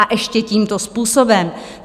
A ještě tímto způsobem?